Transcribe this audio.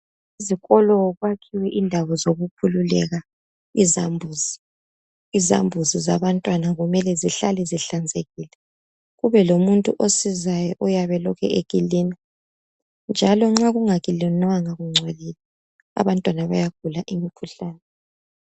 Ezikolo kwakhiwe indawo zokukhululeka izambuzi. Izambuzi zabantwana kumele zihlale zihlanzekile kube lomuntu osizayo oyabe elokhu ekilina njalo nxa kungakilinwanga kungcolile abantwana bayagula imikhuhlane.